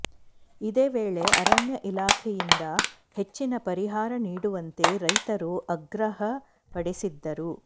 ಇದೇ ವೇಳೆ ಅರಣ್ಯ ಇಲಾಖೆಯಿಂದ ಹೆಚ್ಚಿನ ಪರಿಹಾರ ನೀಡುವಂತೆ ರೈತರು ಆಗ್ರಹ ಪಡಿಸಿದರು